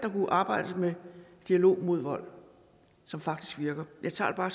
arbejde med dialog mod vold som faktisk virker jeg tager